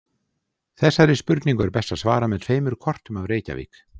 Þessari spurningu er best að svara með tveimur kortum af Reykjavík.